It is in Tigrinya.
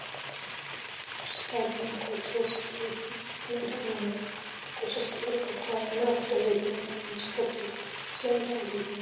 ኣብዚ ስቴድየም ናይ ኩዕሶ ሰክዔት መፃወቲ ሜዳ እኒሀ፡፡ ኩዕሶ ሰክዔት ኣብ ከባቢና ብዙሕ ዘይተለመደ ዓይነት ስፖርቲ እዩ፡፡ ስለምንታይ እዩ ዘይተለመደ?